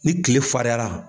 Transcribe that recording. Ni tile fariyala